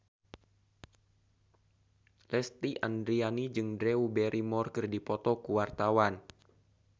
Lesti Andryani jeung Drew Barrymore keur dipoto ku wartawan